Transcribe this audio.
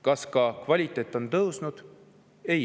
Kas ka kvaliteet on tõusnud?